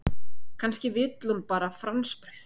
Kannski vill hún bara franskbrauð.